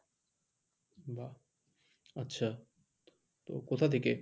বাহ! আচ্ছা তো কোথা থেকে?